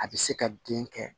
A bɛ se ka den kɛ